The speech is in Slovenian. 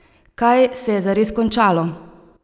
Kaj se je zares končalo?